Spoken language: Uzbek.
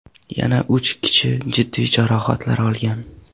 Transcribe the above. Yana uch kishi jiddiy jarohatlar olgan.